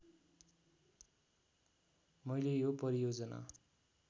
मैले यो परियोजना